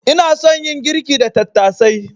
Ina son yin girki da tattasai.